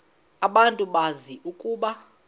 abantu bazi ukuba